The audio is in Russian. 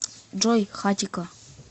джой хатико